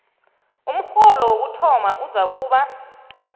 umrholo wokuthoma uzakuba